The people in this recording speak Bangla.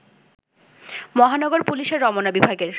মহানগর পুলিশের রমনা বিভাগের